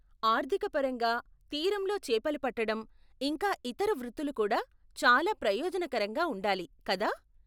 ఆర్థిక పరంగా, తీరంలో చేపలు పట్టడం, ఇంకా ఇతర వృత్తులు కూడా చాలా ప్రయోజనకరంగా ఉండాలి, కదా?